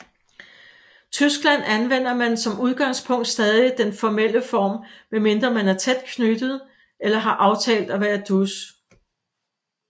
Tyskland anvender man som udgangspunkt stadig den formelle form medmindre man er tæt knyttet eller har aftalt at være dus